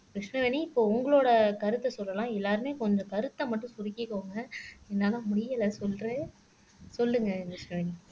கிருஷ்ணவேணி இப்போ உங்களோட கருத்தை சொல்லலாம் எல்லாருமே கொஞ்சம் கருத்தை மட்டும் சுருக்கிக்கோங்க என்னால முடியல சொல்றேன் சொல்லுங்க கிருஷ்ணவேணி